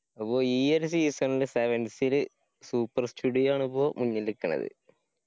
അപ്പൊ ഈ ഒരു season ല് sevens ല് super studio ആണിപ്പോ മുന്നില് നിക്കണത്